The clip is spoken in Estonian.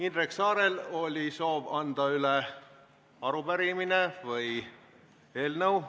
Indrek Saarel oli soov anda üle arupärimine või eelnõu.